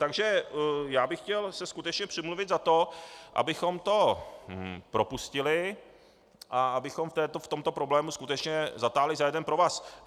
Takže já bych chtěl se skutečně přimluvit za to, abychom to propustili a abychom v tomto problému skutečně zatáhli za jeden provaz.